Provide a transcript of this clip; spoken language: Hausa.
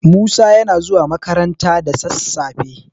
Musa yana zuwa makaranta da sassafe.